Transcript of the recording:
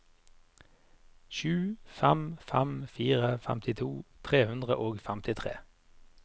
sju fem fem fire femtito tre hundre og femtitre